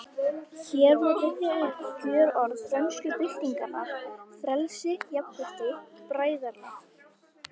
Hér má rifja upp kjörorð frönsku byltingarinnar: Frelsi, jafnrétti, bræðralag